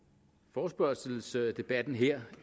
forespørgselsdebatten her